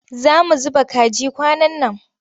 Za mu zuba kaji kwanan nan.